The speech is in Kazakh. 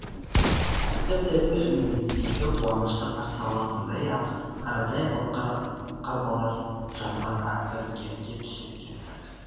тіпті өз үйіміздегі қуанышты қарсы алатындай ақ қарадай қарбалас жасап әбігерге түсіп кеттік